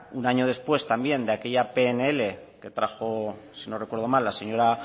un año después también de aquella pnl que trajo si no recuerdo mal la señora